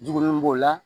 Jugun b'o la